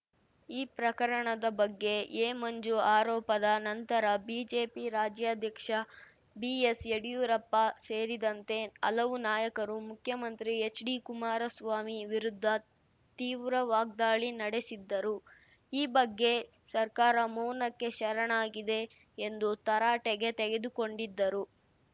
ಈ ಪ್ರಕರಣದ ಬಗ್ಗೆ ಎಮಂಜು ಆರೋಪದ ನಂತರ ಬಿಜೆಪಿ ರಾಜ್ಯಾಧ್ಯಕ್ಷ ಬಿಎಸ್‌ಯಡಿಯೂರಪ್ಪ ಸೇರಿದಂತೆ ಹಲವು ನಾಯಕರು ಮುಖ್ಯಮಂತ್ರಿ ಹೆಚ್‌ಡಿಕುಮಾರಸ್ವಾಮಿ ವಿರುದ್ಧ ತೀವ್ರ ವಾಗ್ದಾಳಿ ನಡೆಸಿದ್ದರು ಈ ಬಗ್ಗೆ ಸರ್ಕಾರ ಮೌನಕ್ಕೆ ಶರಣಾಗಿದೆ ಎಂದು ತರಾಟೆಗೆ ತೆಗೆದುಕೊಂಡಿದ್ದರು